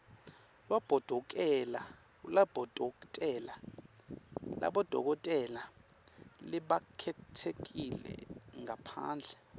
lwabodokotela labakhetsekile ngaphandle